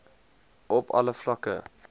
op alle vlakke